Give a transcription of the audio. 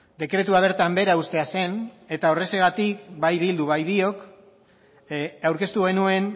dekretua bertan behera uztea zen eta horrexegatik bai bilduk bai biok aurkeztu genuen